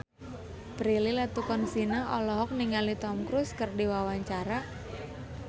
Prilly Latuconsina olohok ningali Tom Cruise keur diwawancara